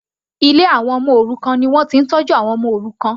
Ilé àwọn ọmọ òrukàn ni wọ́n ti ń tọ́jú àwọn ọmọ òrukàn.